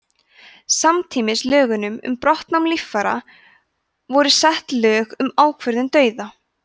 samtímis lögunum um brottnám líffæra voru sett lög um ákvörðun dauða